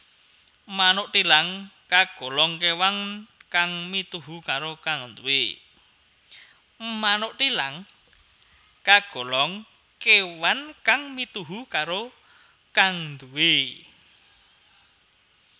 Manuk thilang kagolong kewan kang mituhu karo kang nduwé